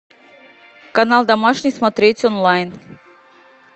канал домашний смотреть онлайн